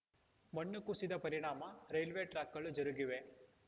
ಮಣ್ಣು ಕುಸಿದ ಪರಿಣಾಮ ರೈಲ್ವೆ ಟ್ರಾಕ್‌ಗಳು ಜರುಗಿವೆ